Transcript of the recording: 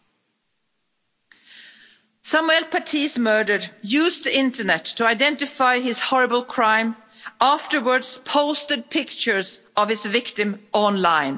Samuel Paty's murderer used the internet to identify his horrible crime and afterwards posted pictures of his victim online.